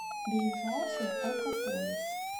ближайший алкополис